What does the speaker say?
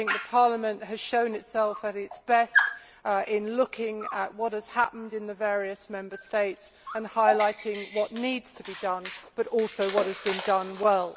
Parliament has shown itself at its best in looking at what has happened in the various Member States and highlighting what needs to be done, and also what has been done well.